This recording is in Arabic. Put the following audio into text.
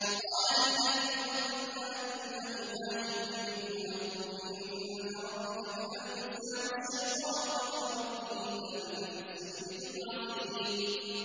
وَقَالَ لِلَّذِي ظَنَّ أَنَّهُ نَاجٍ مِّنْهُمَا اذْكُرْنِي عِندَ رَبِّكَ فَأَنسَاهُ الشَّيْطَانُ ذِكْرَ رَبِّهِ فَلَبِثَ فِي السِّجْنِ بِضْعَ سِنِينَ